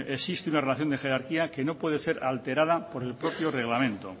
existe una relación de jerarquía que no puede ser alterada por el propio reglamento